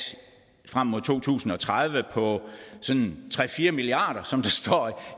frem mod to tusind og tredive på tre fire milliard kr som der står